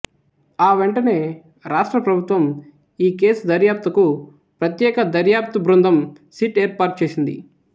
ఆ వెంటనే రాష్ట్ర ప్రభుత్వం ఈ కేసు దర్యాప్తుకు ప్రత్యేక దర్యాప్తు బృందం సిట్ ఏర్పాటుచేసింది